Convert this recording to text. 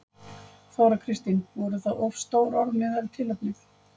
Þóra Kristín: Voru það of stór orð miðað við tilefnið?